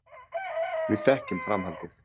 Við þekkjum framhaldið.